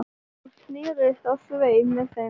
Hún snerist á sveif með þeim